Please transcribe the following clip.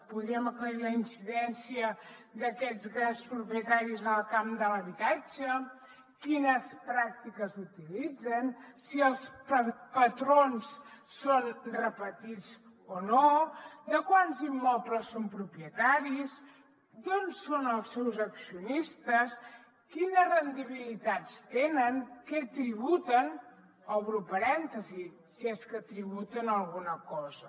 podríem aclarir la incidència d’aquests grans propietaris en el camp de l’habitatge quines pràctiques utilitzen si els patrons són repetits o no de quants immobles són propietaris d’on són els seus accionistes quines rendibilitats tenen què tributen obro parèntesi si és que tributen alguna cosa